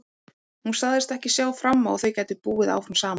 Hún sagðist ekki sjá fram á að þau gætu búið áfram saman.